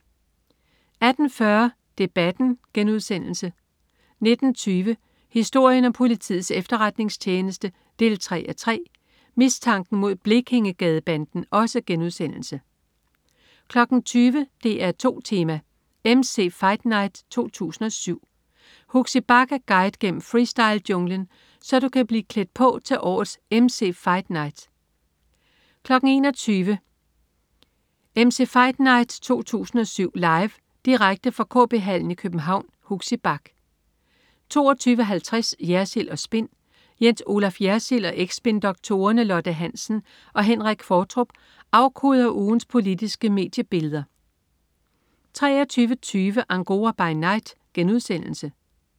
18.40 Debatten* 19.20 Historien om politiets efterretningstjeneste 3:3. Mistanken mod Blekingegadebanden* 20.00 DR2 Tema: MC's Fight Night 2007. Huxi Bach er guide gennem freestylejunglen, så du kan blive klædt på til årets "MC's Fight Night" 21.00 MC's Fight Night 2007. Live. Direkte fra KB-Hallen i København. Huxi Bach 22.50 Jersild & Spin. Jens Olaf Jersild og eks-spindoktorerne Lotte Hansen og Henrik Qvortrup afkoder ugens politiske mediebilleder 23.20 Angora by Night*